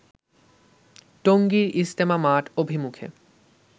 টঙ্গীর ইজতেমা মাঠ অভিমুখে